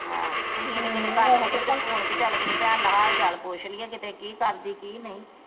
ਤੁਹੀ ਤੇ ਕਿਤੇ ਕਰਦੇ ਨਹੀਂ ਕਿਤੇ ਫੋਨ ਪੀ ਚਲ ਕਿਤੇ ਭੈਣ ਦਾ ਹਾਲ ਚਾਲ ਪੁੱਛ ਲਈਏ ਕਿਤੇ ਕੀ ਕਰਦੀ ਕੀ ਨਹੀਂ।